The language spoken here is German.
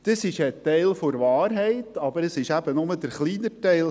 Dies ist ein Teil der Wahrheit, doch es ist nur der kleinere Teil.